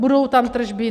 Budou tam tržby?